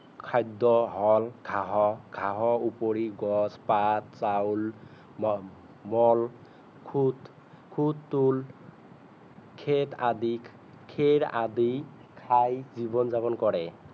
খাদ্য হল ঘাহ ঘাহৰ উপৰি গছ পাত চাউল মল খুত খুটোল খেট আদি খেৰ আদি খাই জীৱন যাপন কৰে